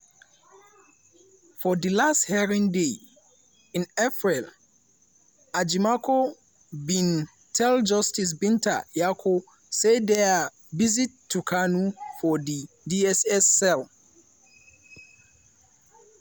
for dilast hearing day in april ejimakor bin tell justice binta nyako say dia visit to kanu for di dss cell